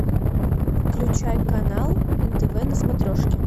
включай канал нтв на смотрешке